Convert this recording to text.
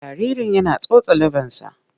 Jaririn yana tsotson leɓensa.